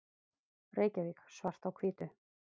Reykjavík, Svart á hvítu.